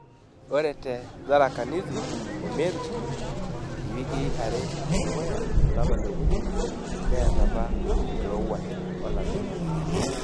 Ore te Tharaka Nithi o Meru, iwikii are e dukuya olapa le okuni neeta apa enkirowuaj olameyu.